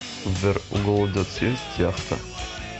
сбер у голодец есть яхта